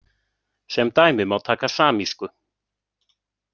Sem dæmi má taka samísku.